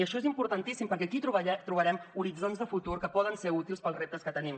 i això és importantíssim perquè aquí trobarem horitzons de futur que poden ser útils per als reptes que tenim